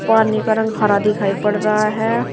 पानी का रंग हरा दिखाई पड़ रहा है।